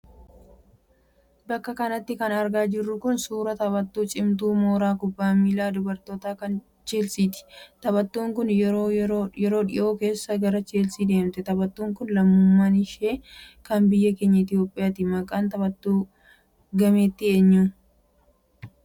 Bakka kanatti kan argaa jirru suuraa taphattuu cimtuu mooraa kubbaa miillaa dubartootaa kan Chelsiiti. Taphattuun kun yeroo dhiyoo keessa gara Chelsii deemte. Taphattuun kun lammummaan ishee kan biyya keenya Itiyoopiyaati. Maqaan taphattuu gameettii eenyu?